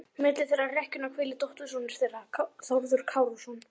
Milli þeirra í rekkjunni hvílir dóttursonur þeirra, Þórður Kárason.